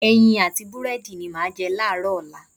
Ẹyin àti búrẹ́dì ni màá jẹ láàárọ̀ ọ̀la.